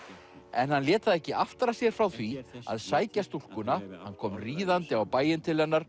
en hann lét það ekki aftra sér frá því að sækja stúlkuna hann kom ríðandi á bæinn til hennar